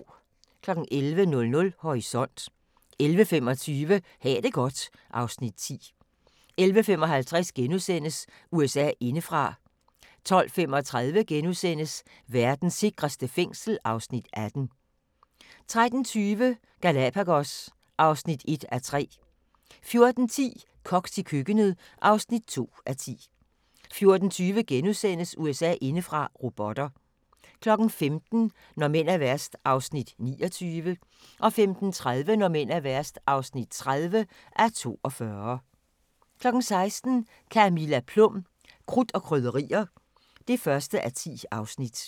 11:00: Horisont 11:25: Ha' det godt (Afs. 10) 11:55: USA indefra * 12:35: Verdens sikreste fængsel (Afs. 18)* 13:20: Galapagos (1:3) 14:10: Koks i køkkenet (2:10) 14:20: USA indefra: Robotter * 15:00: Når mænd er værst (29:42) 15:30: Når mænd er værst (30:42) 16:00: Camilla Plum – Krudt og Krydderier (1:10)